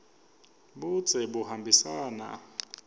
budze buhambisana